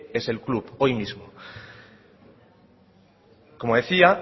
es el club hoy mismo como decía